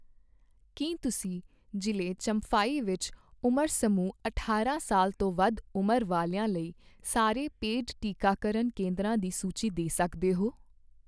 ਕੀ ਤੁਸੀਂ ਜ਼ਿਲ੍ਹੇ ਚੰਫਾਈ ਵਿੱਚ ਉਮਰ ਸਮੂਹ ਅਠਾਰਾਂ ਸਾਲ ਤੋਂ ਵੱਧ ਉਂਮਰ ਵਾਲਿਆ ਲਈ ਸਾਰੇ ਪੇਡ ਟੀਕਾਕਰਨ ਕੇਂਦਰਾਂ ਦੀ ਸੂਚੀ ਦੇ ਸਕਦੇ ਹੋ?